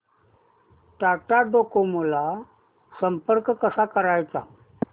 Tata Docomo ला संपर्क कसा करायचा